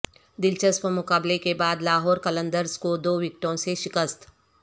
دلچسپ مقابلے کے بعد لاہور قلندرز کو دو وکٹوں سے شکست